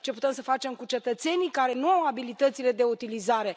Ce putem să facem cu cetățenii care nu au abilitățile de utilizare?